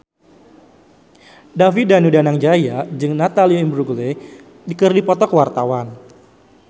David Danu Danangjaya jeung Natalie Imbruglia keur dipoto ku wartawan